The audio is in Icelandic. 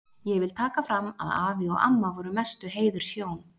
Ég vil taka fram að afi og amma voru mestu heiðurshjón.